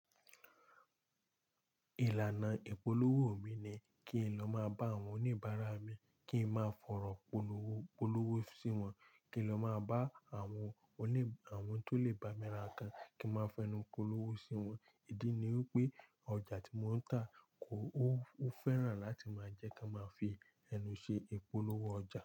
Ìlànà ìpolówó mi ni kí n lọ máa bá àwọn oníbàárà mi kí n máa fọ̀rọ̀ polówó, polówó sí wọn. Kí n lọ máa bá àwọn oní, àwọn tó lè bá mi ra nǹkan kí n máa fẹnu polówó sí wọn. Ìdí ni wípé ọjà tí mo ń tà kò, ó, ó fẹ́ràn láti máa jẹ́ kí a máa fi ẹnu ṣe ìpolówó ọjà.